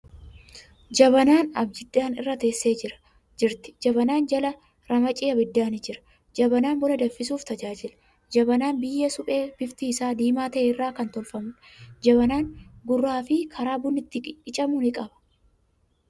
Jabanaan Abidjan irra teessee jirti. Jabanaa jalaa ramacii abiddaa ni jira. Jabanaan buna danfisuuf tajaajila. Jabanaan biyyee suphee bifti isaa diimaa ta'e irraa kan tolfamuudha. Jabanaan gurraa fi karaa bunni itti qicamu ni qaba.